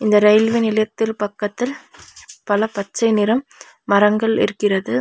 இந்த ரயில்வே நிலையத்தில் பக்கத்தில் பல பச்சை நிறம் மரங்கள் இருக்கிறது.